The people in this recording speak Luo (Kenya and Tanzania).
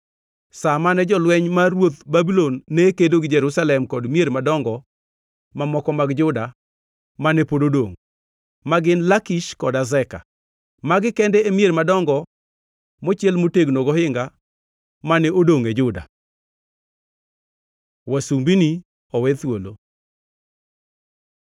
sa mane jolweny mar ruodh Babulon ne kedo gi Jerusalem kod mier madongo mamoko mag Juda mane pod odongʼ, ma gin Lakish kod Azeka. Magi kende e mier madongo mochiel motegno gohinga mane odongʼ e Juda. Wasumbini owe thuolo